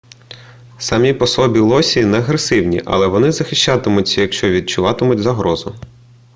самі по собі лосі не агресивні але вони захищатимуться якщо відчуватимуть загрозу